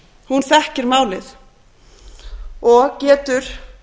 hún þekkir málið og getur